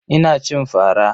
Ina cin fara.